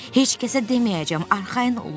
Heç kəsə deməyəcəm, arxayın olun.